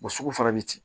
sugu fana bɛ ten